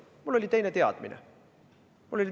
Mul oli teine teadmine.